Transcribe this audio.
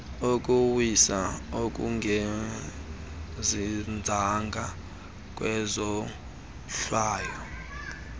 ukuwiswa okungazinzanga kwezohlwayo